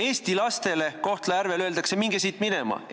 Eesti lastele Kohtla-Järvel öeldakse: "Minge siit minema!